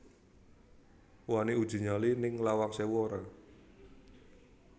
Wani uji nyali ning Lawang Sewu ora